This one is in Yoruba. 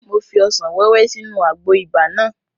Mo fi ọsàn wẹ́wẹ́ sínú àgbo ibà náà